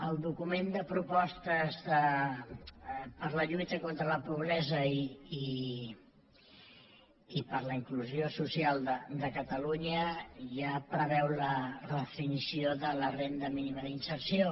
el document de propostes per a la lluita contra la pobresa i per a la inclusió social de catalunya ja preveu la redefinició de la renda mínima de reinserció